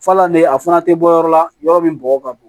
Falan de a fana tɛ bɔ yɔrɔ la yɔrɔ min bɔgɔ ka bon